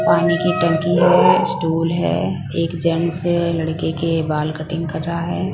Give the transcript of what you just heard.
माने की टंकी है स्टोर है एक जेंट्स लड़के के बाल कटिंग कर रहा है।